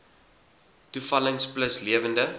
toevallings plus lewende